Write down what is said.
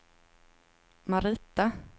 Marita